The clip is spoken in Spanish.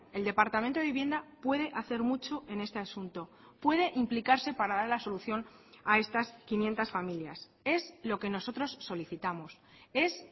el departamento de vivienda puede hacer mucho en este asunto puede implicarse para dar la solución a estas quinientos familias es lo que nosotros solicitamos es